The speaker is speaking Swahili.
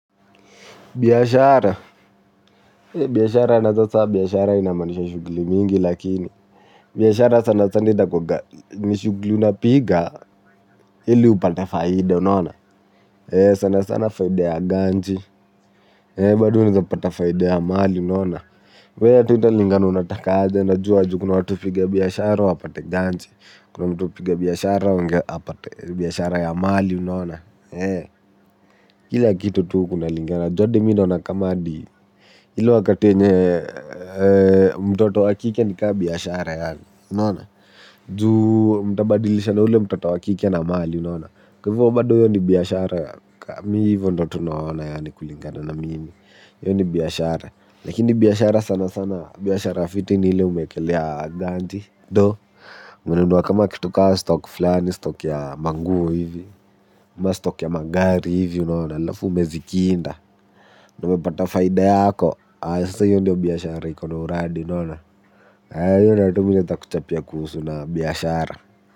Biashara alafu sasa biashara inamaanisha shughuli mingi lakini. Biashara sana sana inakuanga ni shughuli unapiga ili upate faida, unaona. Sana sana faida ya ganji, bado unaeza pata faida ya mali unaona kwa iyo yote italingana unataka aje na juu kuna watu hupiga biashara wapate ganji. Kuna mtu hupiga biashara apate biashara ya mali unaona. Kila kitu tu kuna lingana, juu adi mimi naona kama adi ile wakati enye mtoto wa kike ni kaa biashara yaani unaona juu mtabadilisha na ule mtoto wa kike na mali unaona kwa ivo bado iyo ni biashara yaani mi hivyo ndo tu naona yaani kulingana na mimi iyo ni biashara lakini biashara sana sana biashara fiti ni ile umeekelea ganti do unanunu kama kitu ka stock flani stock ya manguo hivi stock ya magari hivi unaona alafu umezi kinda na umepata faida yako sasa iyo ndio biashara iko na uradi ivo ndio tu mimi naeza kuchapia kuhusu biashara.